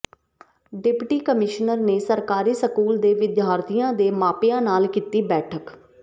deputy commissioner ਨੇ ਸਰਕਾਰੀ school ਦੇ ਵਿਦਿਆਰਥੀਆਂ ਦੇ ਮਾਪਿਆਂ ਨਾਲ ਕੀਤੀ ਬੈਠਕ